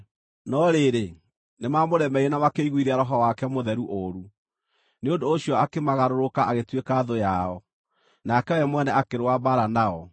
No rĩrĩ, nĩmamũremeire na makĩiguithia Roho wake Mũtheru ũũru. Nĩ ũndũ ũcio akĩmagarũrũka, agĩtuĩka thũ yao, nake we mwene akĩrũa mbaara nao.